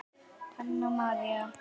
Hanna María.